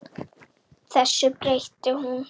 Þessu breytti hún.